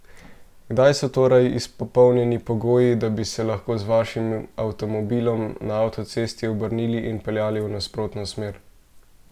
Kdaj so torej izpolnjeni pogoji, da bi se lahko z vašim avtomobilom na avtocesti obrnili in peljali v nasprotno smer?